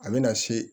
A bɛ na se